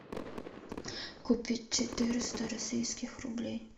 купить четыреста российских рублей